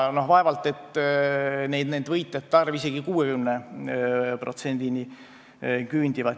Vaevalt et võitjate hulk nüüd isegi 60%-ni küündib.